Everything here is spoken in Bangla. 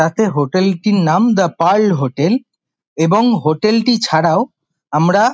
ভাতের হোটেল -টির নাম দা পার্ল হোটেল এবং হোটেল -টি ছাড়াও আমরা |